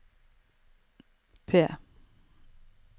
P